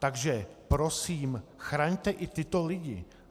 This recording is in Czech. Takže prosím, chraňte i tyto lidi.